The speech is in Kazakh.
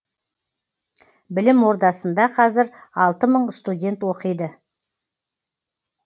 білім ордасында қазір алты мың студент оқиды